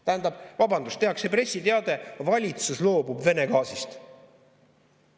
Tähendab, vabandust, tehakse pressiteade: valitsus loobub Vene gaasist.